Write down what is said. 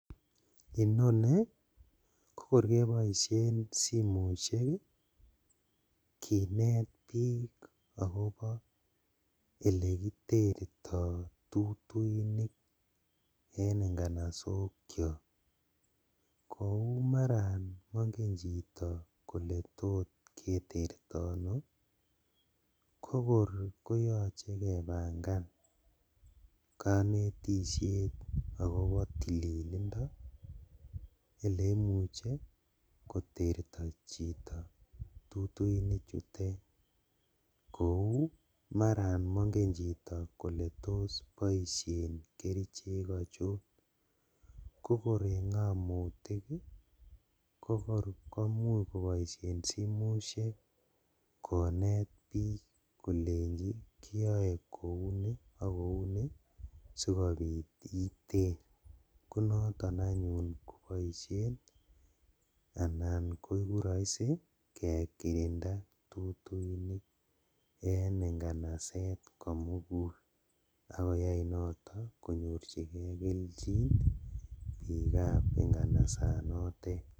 Inoni kokor keboishen simoshek kinet bik akobo elekiterto tutuinik en nganasokiok kou maran monge chito kole totketerto ono kokor koyoche kepangan konetishet akobo tililindo eleimuche koterti chito tutuinichutet. kou maran monge chito kole tos boishen kerichek ochon kokor en ngamotik ii kokor komuch koboishen simoshek konet bik kolenji kiyoe kouni ak kouni sikobit iter konoton anyun koboishen anan koiku roisi kekirinda tutuinik en inganaset komugul ak koyai noto konyorjigee keljin bikab inganasanotet.